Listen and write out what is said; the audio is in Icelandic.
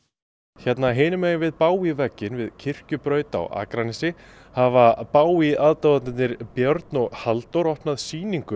hérna hinu megin við vegginn við Kirkjubraut á Akranesi hafa Bowie aðdáendurnir Björn og Halldór opnað sýningu